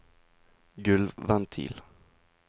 gulvventil